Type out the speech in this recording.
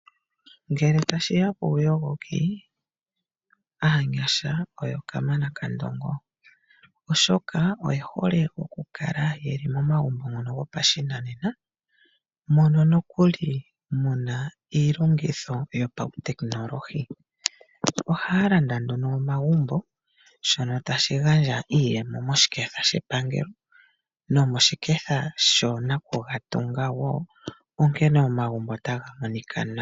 Ngele tashi ya kuuyogoki, aanyasha oyo kamana kandongo oshoka oye hole oku kala ye li momagumbo ngono gopashinanena mono nokuli mu na iilongitho yopautekinolohi. Ohaya landa nduno omagumbo shono tashi gandja iiyemo moshiketha shepangelo nomoshiketha shoo nakugatunga wo, onkene omagumbo ota ga monika nawa.